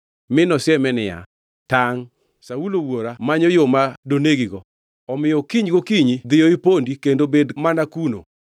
mi nosieme niya, “Tangʼ, Saulo wuora manyo yo ma donegigo. Omiyo kiny gokinyi dhiyo ipondi kendo bed mana kuno.